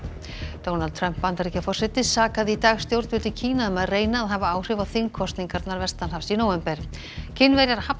Donald Trump Bandaríkjaforseti sakaði í dag stjórnvöld í Kína um að reyna að hafa áhrif á þingkosningarnar vestanhafs í nóvember Kínverjar hafna